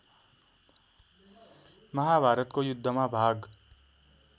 महाभारतको युद्धमा भाग